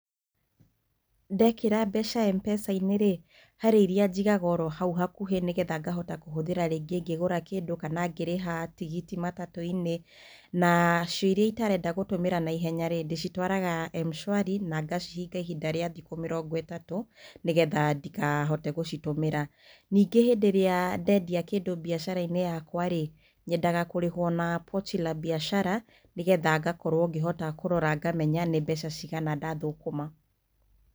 Ndekĩra mbeca M-Pesa-inĩ rĩ harĩ iria njigaga oro hau hakuhĩ nĩgetha ngahota kũhũthĩra rĩngĩ ngĩgũra kĩndũ kana ngĩrĩha tigiti matatũ-inĩ nacio iria itarenda gũtúmĩra naihenyarĩ, ndĩcitwaraga M-SHWARI na ngacihinga ihinda ria thikũ mĩrongo ĩtatũ nĩgetha ndikahote gũcitũmĩra ningĩ hĩndĩ ĩrĩa ndendia kĩndũ biashara-inĩ yakwarĩ nyendaga kurĩhwo na pochi la biashara nĩgetha ngakorwo ngĩhota kũrora ngona nĩ mbeca ciigana ndathũkũma